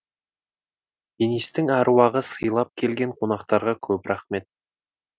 денистің әруағын сыйлап келген қонақтарға көп рахмет